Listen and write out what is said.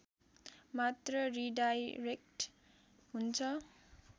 मात्र रिडाइरेक्ट हुन्छ